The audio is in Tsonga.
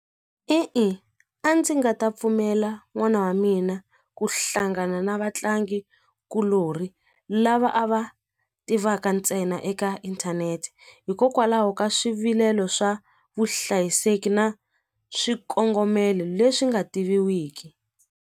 E-e a ndzi nga ta pfumela n'wana wa mina ku hlangana na vatlangikuloni lava a va tivaka ntsena eka inthanete hikokwalaho ka swivilelo swa vuhlayiseki na swikongomelo leswi nga tiviwiki.